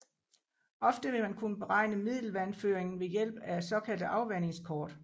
Ofte vil man kunne beregne middelvandføringen ved hjælp af såkaldte afvandingskort